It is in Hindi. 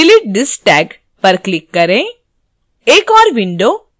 yes delete this tag पर click करें